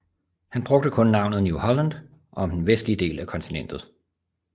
Han brugte kun navnet New Holland om den vestlige del af kontinentet